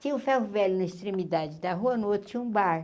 Tinha um ferro velho na extremidade da rua, no outro tinha um bar.